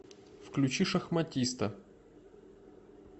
включи шахматиста